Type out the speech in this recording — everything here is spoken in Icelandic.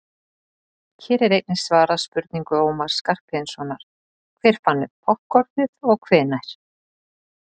hér er einnig svarað spurningu ómars skarphéðinssonar „hver fann upp poppkornið og hvenær“